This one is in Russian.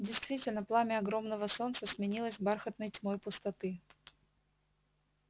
действительно пламя огромного солнца сменилось бархатной тьмой пустоты